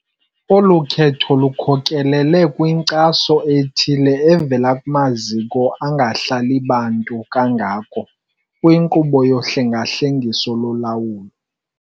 Olu khetho lukhokelele kwinkcaso ethile evela kumaziko angahlali bantu kangako kwinkqubo yohlengahlengiso lolawulo